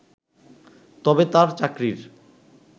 তবে তার চাকরির